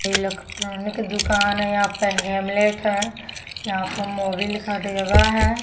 Electronic दुकान है यहाँ पे हैमलेट है यहाँ पर है।